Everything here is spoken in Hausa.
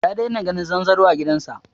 Ya daina ganin zanzaro a gidan sa